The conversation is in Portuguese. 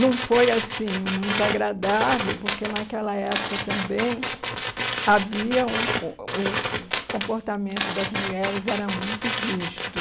Não foi assim muito agradável, porque naquela época também havia um o o o comportamento das mulheres era muito rígido.